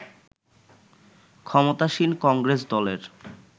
ক্ষমতাসীন কংগ্রেস দলের